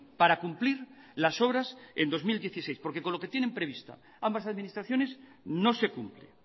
para cumplir las obras en dos mil dieciséis porque con lo que tienen previsto ambas administraciones no se cumple